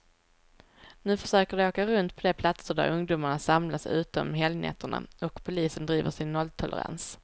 Nu försöker de åka runt på de platser där ungdomarna samlas ute om helgnätterna, och polisen driver sin nolltolerans.